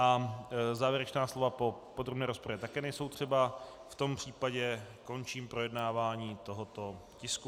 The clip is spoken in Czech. A závěrečná slova po podrobné rozpravě také nejsou třeba, v tom případě končím projednávání tohoto tisku.